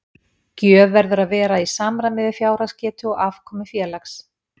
Gjöf verður að vera í samræmi við fjárhagsgetu og afkomu félags.